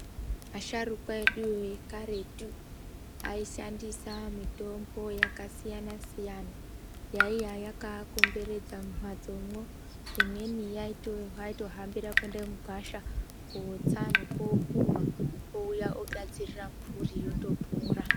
Asharukwa eduyo ekaretu aishandisa mitombo yakasiyana-siyana yaiya yakaakomberedza mumhatsomwo. Imweni yavaitohambira kuenda mugwasha kootsa nekookohwa votouya vogadzirira mhuri yotopora.